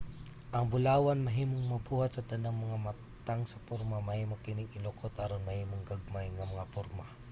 ang bulawan mahimong mabuhat sa tanang mga matang sa porma. mahimo kining ilukot aron mahimong gagmay nga mga porma